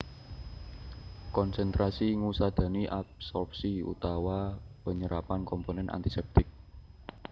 Konsentrasi ngusadani adsorpsi utawa penyerapan komponen antisèptik